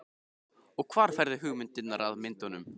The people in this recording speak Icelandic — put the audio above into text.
Og hvar færðu hugmyndirnar að myndunum?